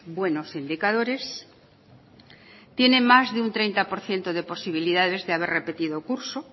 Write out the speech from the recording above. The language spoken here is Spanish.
buenos indicadores tiene más de un treinta por ciento de posibilidades de haber repetido curso